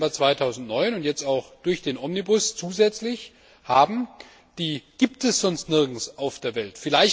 1. Dezember 2009 und jetzt auch durch den Omnibus zusätzlich haben, gibt es sonst nirgends auf der Welt.